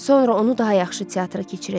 Sonra onu daha yaxşı teatra keçirəcəm.